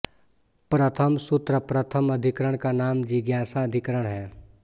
प्रथम सूत्र प्रथम अधिकरण का नाम जिज्ञासा अधिकरण है